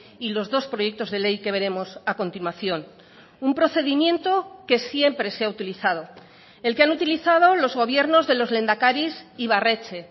y los dos proyectos de ley que veremos a continuación un procedimiento que siempre se ha utilizado el que han utilizado los gobiernos de los lehendakaris ibarretxe